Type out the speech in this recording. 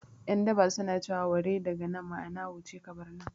Yan daba su na ce wa 'ware daga nan' ma'ana wuce ka bar nan